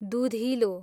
दुधिलो